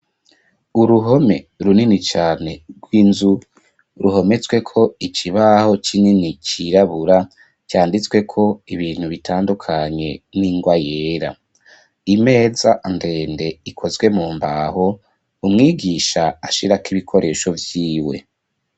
Uruhome runini cane rw'inzu ruhometswe ko icibaho c'inini cirabura canditswe ko ibintu bitandukanye n'ingoa yera imeza ndende ikozwe mu mbaho umwigisha ashirako ibikoresho vyiwe.